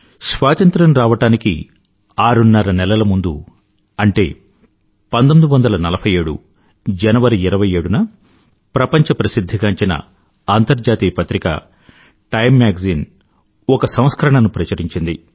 స్వాతంత్ర్యం రావడానికి ఆరున్నర నెలల ముందు 1947 జనవరి 27న ప్రపంచ ప్రసిధ్ధిగాంచిన అంతర్జాతీయ పత్రిక టైమ్ మ్యాగజైన్ ఒక సంస్కరణ ను ప్రచురించింది